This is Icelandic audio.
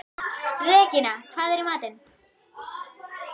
Regína, hvað er í matinn?